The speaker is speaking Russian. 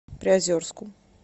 приозерску